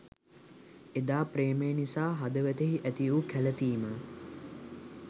එදා ප්‍රේමය නිසා හදවතෙහි ඇතිවූ කැලතීම